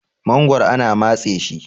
magoro ana matse shi